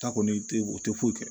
Ta kɔni te o te foyi kɛ